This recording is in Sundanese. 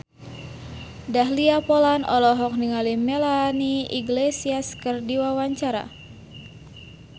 Dahlia Poland olohok ningali Melanie Iglesias keur diwawancara